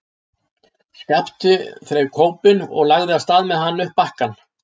Skapti þreif kópinn og lagði af stað með hann upp bakkann.